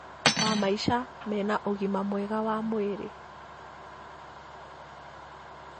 wa maica mena ũgima mwega wa mwĩrĩ